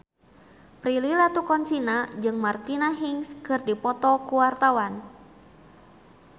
Prilly Latuconsina jeung Martina Hingis keur dipoto ku wartawan